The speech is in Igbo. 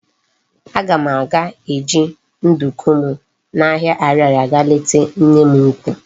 Aga m aga eji nduku m na ahia Ariaria ga leta nne m ukwu